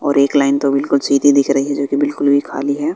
और एक लाइन तो बिल्कुल सीधी दिख रही है जो की बिल्कुल भी खाली है।